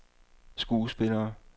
skuespillere